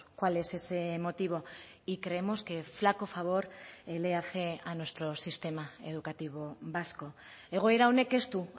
cuál es ese motivo y creemos que flaco favor le hace a nuestro sistema educativo vasco egoera honek ez du